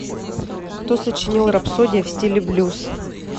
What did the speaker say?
кто сочинил рапсодия в стиле блюз